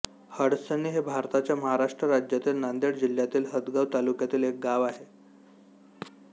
हडसणी हे भारताच्या महाराष्ट्र राज्यातील नांदेड जिल्ह्यातील हदगाव तालुक्यातील एक गाव आहे